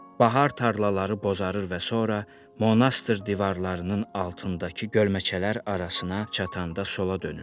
Bahar tarlaları bozarır və sonra monastır divarlarının altındakı gölməçələr arasına çatanda sola dönürsən.